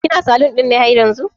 kina salun ɗin ne haryanzu?